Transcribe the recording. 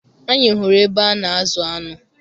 Anyị hụrụ ebe a na-azụ aṅụ